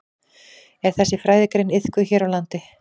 Er þessi fræðigrein iðkuð hér á landi?